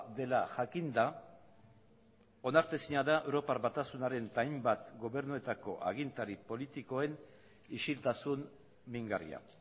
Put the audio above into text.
dela jakinda onartezina da europar batasunaren eta hainbat gobernuetako agintari politikoen isiltasun mingarria